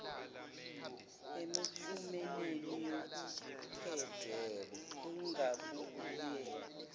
emiphumeleni yokukhetha kungabuye